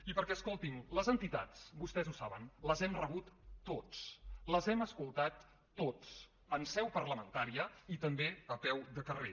i perquè escoltin les entitats vostès ho saben les hem rebut tots les hem escoltat tots en seu parlamentària i també a peu de carrer